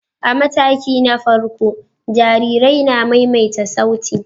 A mataki na farko, jarirai na maimaita sauti.